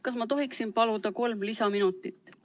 Kas ma tohin paluda kolm lisaminutit?